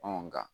nka